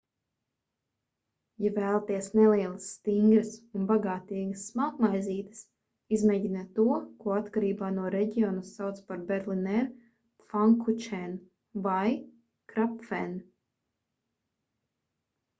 ja vēlaties nelielas stingras un bagātīgas smalkmaizītes izmēģiniet to ko atkarībā no reģiona sauc par berliner pfannkuchen vai krapfen